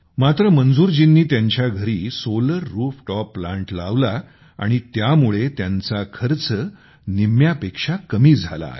मात्र मंजूरजींनी त्यांच्या घरी सोलर रूफटॉप प्लांट लावला आणि त्यामुळे त्यांचा खर्च निम्म्यापेक्षा कमी झाला आहे